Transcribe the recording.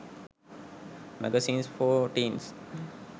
magazines for teens